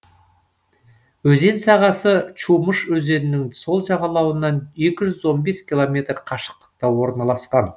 өзен сағасы чумыш өзенінің сол жағалауынан екі жүз он бес километр қашықтықта орналасқан